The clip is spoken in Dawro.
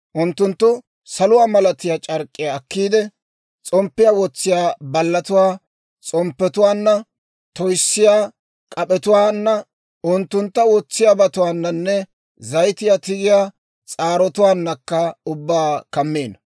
«Unttunttu saluwaa malatiyaa c'ark'k'iyaa akkiide, s'omppiyaa wotsiyaa ballatuwaa s'omppetuwaanna, toyissiyaa k'ap'etuwaana, unttuntta wotsiyaabatuwaananne zayitiyaa tigiyaa s'aarotuwaanakka ubbaa kammino.